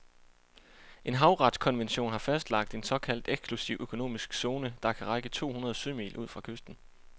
En havretskonvention har fastlagt en såkaldt eksklusiv økonomisk zone, der kan række to hundrede sømil ud fra kysten.